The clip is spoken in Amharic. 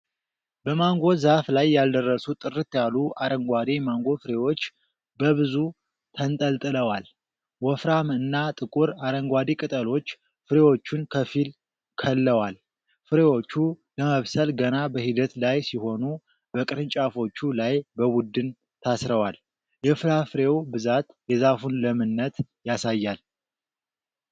በማንጎ ዛፍ ላይ ያልደረሱ፣ ጥርት ያሉ አረንጓዴ ማንጎ ፍሬዎች በብዙ ተንጠልጥለዋል። ወፍራም እና ጥቁር አረንጓዴ ቅጠሎች ፍሬዎቹን ከፊል-ከለዋል። ፍሬዎቹ ለመብሰል ገና በሂደት ላይ ሲሆኑ በቅርንጫፎቹ ላይ በቡድን ታስረዋል። የፍራፍሬው ብዛት የዛፉን ለምነት ያሳያል።